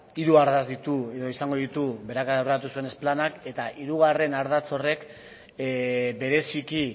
hiru ardatz izango ditu berak aurreratu zuen planak eta hirugarren ardatz horrek bereziki